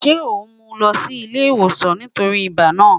Ṣe o mu u lọ si ile-iwosan nitori ibà naa?